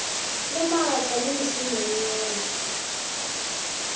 le maatla le mešomo yeo